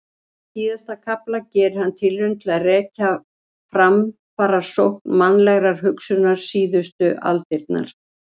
Í síðasta kafla gerir hann tilraun til að rekja framfarasókn mannlegrar hugsunar síðustu aldirnar.